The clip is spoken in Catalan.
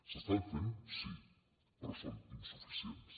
s’estan fent sí però són insuficients